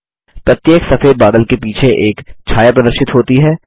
प्रत्येक सफेद बादल के पीछे एक छाया प्रदर्शित होती है